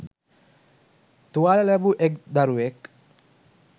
තුවාල ලැබූ එක්‌ දරුවෙක්